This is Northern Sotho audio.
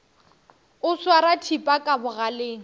o swara thipa ka bogaleng